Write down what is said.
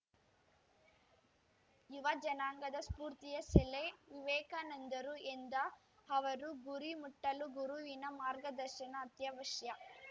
ಯುವ ಜನಾಂಗದ ಸ್ಪೂರ್ತಿಯ ಸೆಲೆ ವಿವೇಕಾನಂದರು ಎಂದ ಅವರು ಗುರಿ ಮುಟ್ಟಲು ಗುರುವಿನ ಮಾರ್ಗದರ್ಶನ ಅತ್ಯವಶ್ಯ